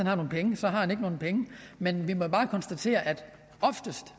har nogen penge så har han ikke nogen penge men vi må bare konstatere at oftest